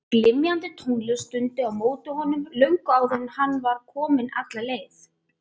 Glymjandi tónlist dundi á móti honum löngu áður en hann var kominn alla leið.